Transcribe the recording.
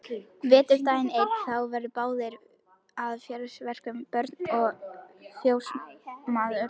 Vetrardag einn eru þeir báðir að fjósverkum, Björn og fjósamaður.